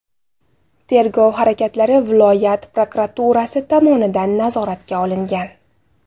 Tergov harakatlari viloyat prokuraturasi tomonidan nazoratga olingan.